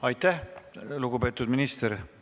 Aitäh, lugupeetud minister!